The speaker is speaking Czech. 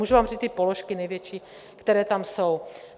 Můžu vám říct i položky největší, které tam jsou.